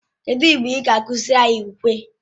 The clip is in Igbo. Kedụ mgbe ị ga-akụziri anyị ukwe?